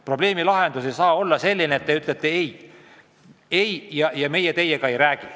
Probleemi lahendus ei saa olla see, et me ütleme: "Ei, meie teiega ei räägi".